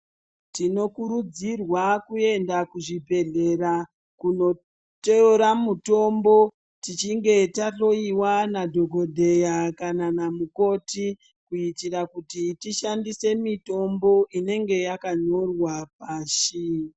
Tinokurudzirwa kuenda kuzvibhedhlera kunotora mitombo tichinge tahloyiwa nadhogodheya kana namukoti kuitira kuti tishandise mitombo inenge yakanyorwa pashi.